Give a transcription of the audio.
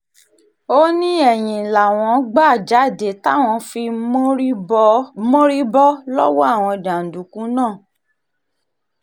ó ní ẹ̀yìn làwọn gbà jáde táwọn fi mórí bọ́ lọ́wọ́ àwọn jàǹdùkú náà